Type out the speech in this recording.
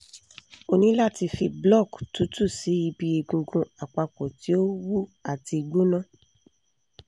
o ni lati fi block tutu si ibi egungun apapo ti o wu ati gbona